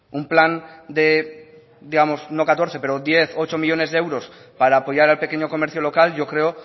un plan de digamos no catorce pero diez coma ocho millónes de euros para apoyar al pequeño comercio local yo creo